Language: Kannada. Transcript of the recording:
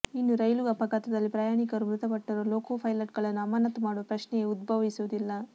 ಇನ್ನು ರೈಲು ಅಪಘಾತದಲ್ಲಿ ಪ್ರಯಾಣಿಕರು ಮೃತಪಟ್ಟರೂ ಲೊಕೊ ಪೈಲಟ್ ಗಳನ್ನು ಅಮಾನತು ಮಾಡುವ ಪ್ರಶ್ನೆಯೇ ಉದ್ಭವಿಸುವುದಿಲ್ಲ